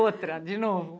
Outra, de novo.